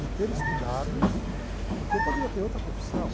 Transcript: De ter estudado, porque eu poderia ter outra profissão.